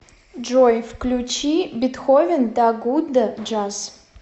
джой включи бетховен да гудда джаз